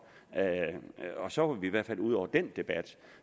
og så var vi i hvert fald ude over den debat